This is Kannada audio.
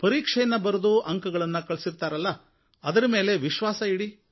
ಪರೀಕ್ಷೆಯನ್ನು ಬರೆದು ಅಂಕಗಳನ್ನು ಗಳಿಸುತ್ತಾರಲ್ಲ ಅದರ ಮೇಲೆ ವಿಶ್ವಾಸ ಇಡಿ